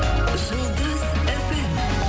жұлдыз фм